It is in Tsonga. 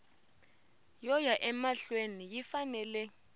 yo ya emahlweni yi fanele